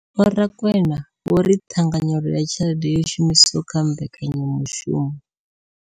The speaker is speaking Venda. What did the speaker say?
Vho Rakwena vho ri ṱhanganyelo ya tshelede yo shumiswaho kha mbekanya mushumo.